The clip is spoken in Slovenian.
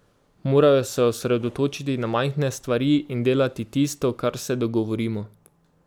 Morajo se osredotočiti na majhne stvari in delati tisto, kar se dogovorimo.